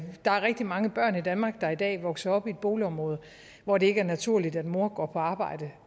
der er rigtig mange børn i danmark der i dag vokser op i et boligområde hvor det ikke er naturligt at mor går på arbejde